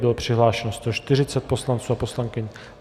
Bylo přihlášeno 140 poslanců a poslankyň.